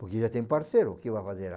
Porque já tem parceiro, o que que vai fazer lá?